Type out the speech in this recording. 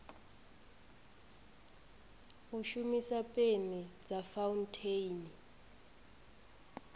u shumisa peni dza fauntheini